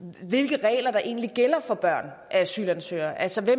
hvilke regler der egentlig gælder for børn af asylansøgere altså